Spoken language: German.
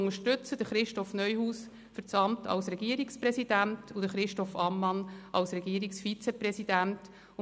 Wir unterstützen Christoph Neuhaus für das Amt des Regierungspräsidenten und Christoph Ammann für das Amt des Regierungsratsvizepräsidenten.